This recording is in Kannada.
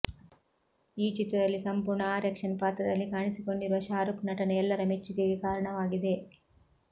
ಈ ಚಿತ್ರದಲ್ಲಿ ಸಂಪೂರ್ಣ ಆ್ಯಕ್ಷನ್ ಪಾತ್ರದಲ್ಲಿ ಕಾಣಿಸಿಕೊಂಡಿರುವ ಶಾರುಕ್ ನಟನೆ ಎಲ್ಲರ ಮೆಚ್ಚುಗೆಗೆ ಕಾರಣವಾಗಿದೆ